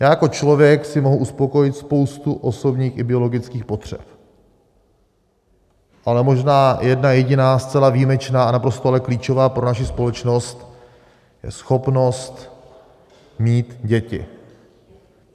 Já jako člověk si mohu uspokojit spoustu osobních i biologických potřeb, ale možná jedna jediná zcela výjimečná a naprosto ale klíčová pro naši společnost je schopnost mít děti.